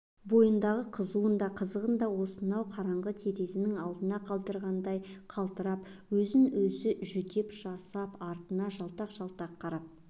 бойындағы қызуын да қызығын да осынау қараңғы терезенң алдына қалдырғандай қалтырап өз-өзінен жүдеп-жасып артына жалтақ-жалтақ қарап